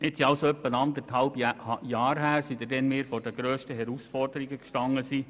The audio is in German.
Jetzt sind also rund anderthalb Jahre vergangen, seit wir vor diesen grössten Herausforderungen gestanden haben.